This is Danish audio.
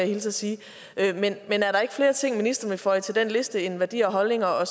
hilse og sige er der ikke flere ting ministeren vil føje til den liste end værdier og holdninger og